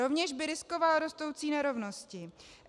Rovněž by riskoval rostoucí nerovnosti.